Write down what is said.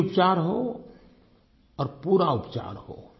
सही उपचार हो और पूरा उपचार हो